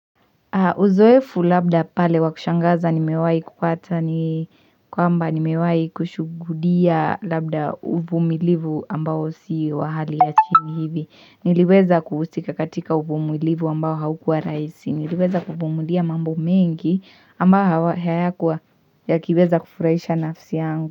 Uzoefu labda pale wakushangaza nimewai kupata ni kwamba nimewai kushughudia labda uvumilivu ambao si wa hali ya chini hivi. Niliweza kuhusika katika uvumilivu ambao haukua raisi. Niliweza kubumulia mambo mengi ambao hawa hayakuwa yakiweza kufurahisha nafsi yangu.